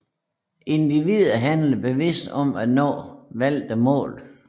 Individer handler bevidst for at nå valgte mål